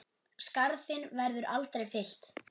Skarð þinn verður aldrei fyllt.